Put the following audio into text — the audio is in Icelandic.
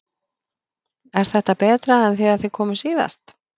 Er þetta betra en þegar þið komuð síðast?